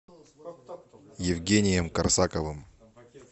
евгением корсаковым